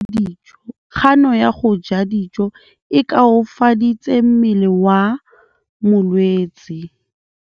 Kganô ya go ja dijo e koafaditse mmele wa molwetse.